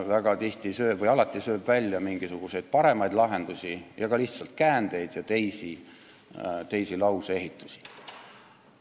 Väga tihti või alati tõrjub ta mingisuguseid paremaid lahendusi või ka lihtsalt käändeid ja selget lauseehitust.